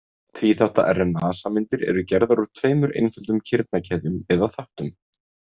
Tvíþátta RNA-sameindir eru gerðar úr tveimur einföldum kirnakeðjum eða þáttum.